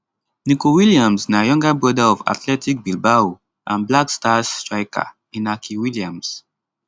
nico williams na younger brother of athletic bilbao and black stars striker inaki williams